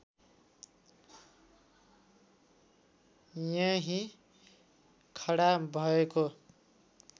यहीँ खडा भएको